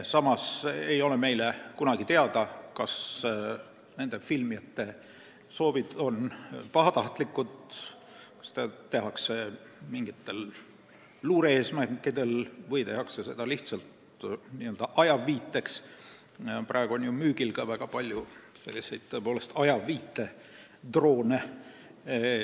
Samas ei ole meile kunagi teada, kas filmijate soovid on pahatahtlikud, kas seda tehakse mingitel luure-eesmärkidel või lihtsalt ajaviiteks, kuivõrd praegu on müügil ka väga palju ajaviitedroone.